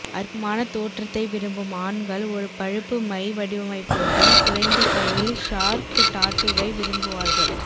அற்புதமான தோற்றத்தை விரும்பும் ஆண்கள் ஒரு பழுப்பு மை வடிவமைப்புடன் குறைந்த கையில் ஷார்க் டாட்டூவை விரும்புவார்கள்